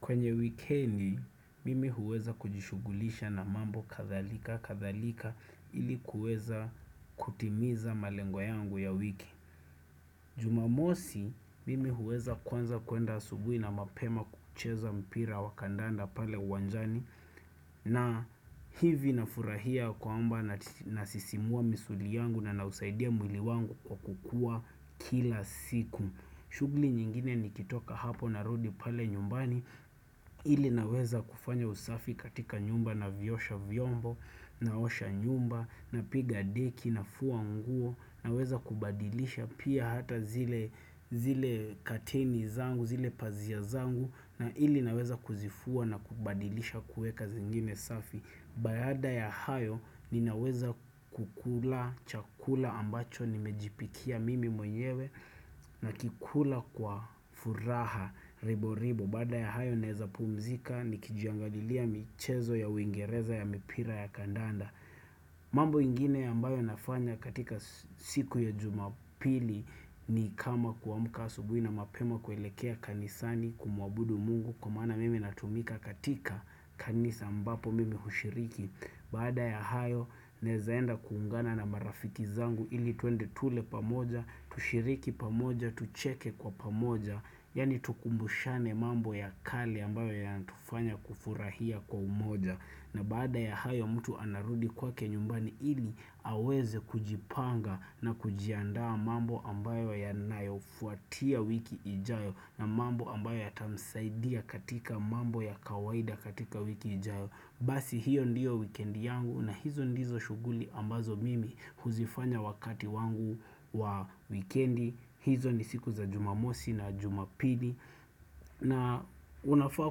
Kwenye wikendi mimi huweza kujishughulisha na mambo kadhalika kadhalika ili kueza kutimiza malengo yangu ya wiki Jumamosi mimi huweza kwanza kuenda asubuhi na mapema kucheza mpira wakandanda pale uwanjani na hivi na furahia kwamba nasisimua misuli yangu na nausaidia mwili wangu kwa kukua kila siku shughuli nyingine nikitoka hapo narudi pale nyumbani, ili naweza kufanya usafi katika nyumba navyosha vyombo, naosha nyumba, napiga deki, nafua nguo, naweza kubadilisha pia hata zile kateni zangu, zile pazia zangu, na ili naweza kuzifua na kubadilisha kueka zingine safi. Baada ya hayo ninaweza kukula chakula ambacho nimejipikia mimi mwenyewe nakikula kwa furaha ribo ribo. Baada ya hayo naeza pumzika ni kijiangalilia michezo ya uingereza ya mipira ya kandanda mambo ingine ambayo nafanya katika siku ya jumapili ni kama kuamka asubuhi na mapema kuelekea kanisani kumuabudu mungu Kwa maana mimi natumika katika kanisa ambapo mimi hushiriki Baada ya hayo naezaenda kuungana na marafiki zangu ili tuende tule pamoja. Tushiriki pamoja, tucheke kwa pamoja Yaani tukumbushane mambo ya kale ambayo yanatufanya kufurahia kwa umoja na baada ya hayo mtu anarudi kwake nyumbani ili aweze kujipanga na kujiandaa mambo ambayo yanayofuatia wiki ijayo na mambo ambayo yatamsaidia katika mambo ya kawaida katika wiki ijao Basi hiyo ndiyo wikendi yangu na hizo ndizo shughuli ambazo mimi huzifanya wakati wangu wa wikendi. Hizo ni siku za jumamosi na jumapili na unafaa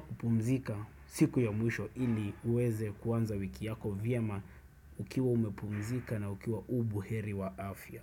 kupumzika siku ya mwisho ili uweze kuanza wiki yako vyema Ukiwa umepumzika na ukiwa uko buheri wa afya.